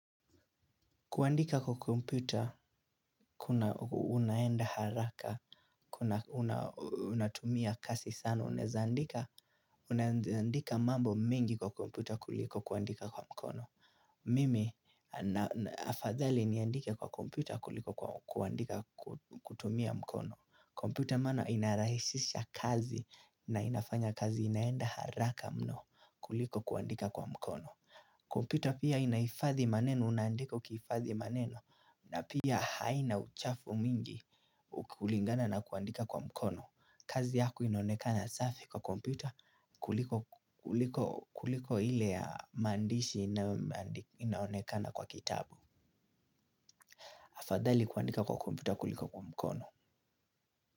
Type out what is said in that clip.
Kuandika kwa kompyuta, unaenda haraka, unatumia kasi sana, unezandika mambo mingi kwa kompyuta kuliko kuandika kwa mkono. Mimi, afadhali niandike kwa kompyuta kuliko kuandika kutumia mkono. Kompyuta maana inarahishisha kazi na inafanya kazi inaenda haraka mno kuliko kuandika kwa mkono. Kompyuta pia inaifadhi maneno, unaandika ukiifadhi maneno. Na pia haina uchafu mingi kulingana na kuandika kwa mkono. Kazi yako inaonekana safi kwa kompyuta kuliko ile ya maandishi inaonekana kwa kitabu. Afadhali kuandika kwa komputer kuliko kwa mkono.